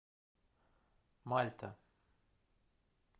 мальта